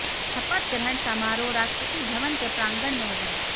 शपथ ग्रहण समारोह राष्ट्रपति भवन के प्रांगण में होगा